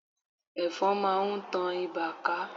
Ẹ̀fọn máa ń tan ibà ká.